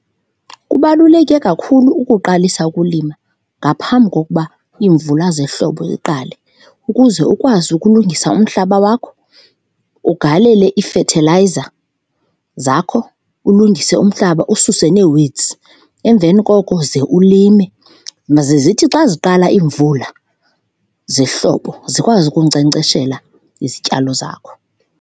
Kubaluleke kakhulu ukuqalisa ukulima ngaphambi kokuba iimvula zehlobo ziqale, ukuze ukwazi ukulungisa umhlaba wakho, ugalele iifethelayiza zakho ulungise umhlaba ususe nee-weeds. Emveni koko ze ulime, maze zithi xa ziqala iimvula zehlobo zikwazi ukunkcenkceshela izityalo zakho.